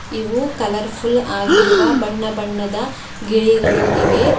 ಇವು ಕಲರ್ಫುಲ್ ಆಗಿರುವ ಬಣ್ಣ ಬಣ್ಣದ ಗಿಳಿಗಳು ಇವೆ.